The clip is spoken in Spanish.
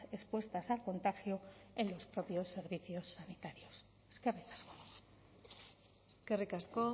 expuestas al contagio en los propios servicios sanitarios eskerrik asko